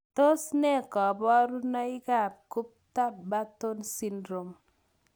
Tos nee koborunoikab Gupta Patton syndrome?